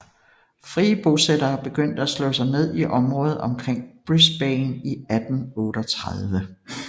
Frie bosættere begyndte at slå sig ned i området omkring Brisbane i 1838